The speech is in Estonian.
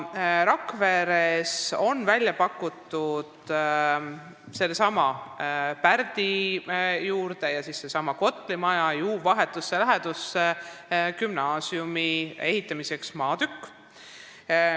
Rakveres on gümnaasiumi ehitamiseks pakutud sellesama Pärdi keskuse juures ja Kotli projekteeritud maja vahetus läheduses asuvat maatükki.